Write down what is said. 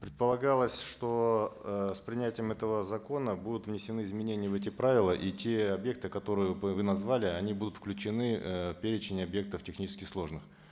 предполагалось что э с принятием этого закона будут внесены изменения в эти правила и те объекты которые вы назвали они будут включены э в перечень объектов технически сложных